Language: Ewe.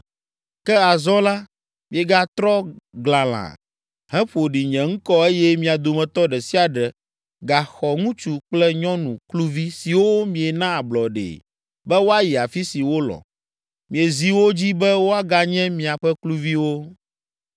Ke azɔ la miegatrɔ glalã, heƒo ɖi nye ŋkɔ eye mia dometɔ ɖe sia ɖe gaxɔ ŋutsu kple nyɔnu kluvi siwo miena ablɔɖee be woayi afi si wolɔ̃. Miezi wo dzi be woaganye miaƒe kluviwo.